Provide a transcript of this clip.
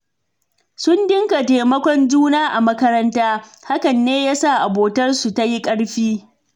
Sun dinga taimakon juna a makaranta, hakan ne ya sa abotarsu ta yi ƙarfi.